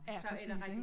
Ja præcis ik